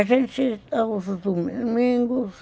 A gente, aos domingos,